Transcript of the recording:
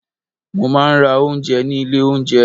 Mo máa ń rà oúnjẹ ní ilé oúnjẹ.